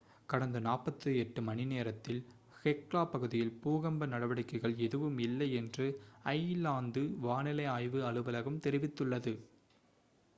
கடந்த 48 மணிநேரத்தில் ஹெக்லா பகுதியில் பூகம்ப நடவடிக்கைகள் எதுவும் இல்லை என்று ஐஸ்லாந்து வானிலை ஆய்வு அலுவலகம் தெரிவித்துள்ளது